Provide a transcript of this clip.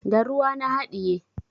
Da ruwa na haɗiye.